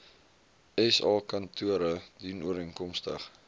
sa kantore dienooreenkomstig